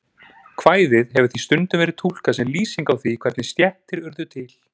Kvæðið hefur því stundum verið túlkað sem lýsing á því hvernig stéttir urðu til.